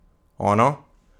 Ono?